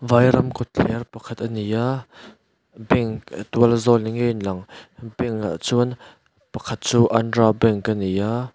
vairam khawthler pakhat ani a bank a tual zawng ni ngei lang bank ah chuan pakhat chu andhra bank ani a.